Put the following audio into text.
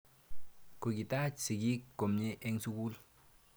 Kokitach sigik komnye eng' sukul.